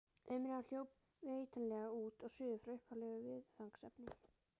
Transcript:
Umræðan hljóp vitanlega út og suður frá upphaflegu viðfangsefni.